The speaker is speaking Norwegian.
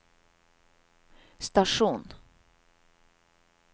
stasjon